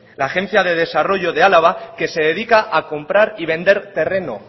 la agencia de desarrollo de álava que se dedica a comprar y vender terreno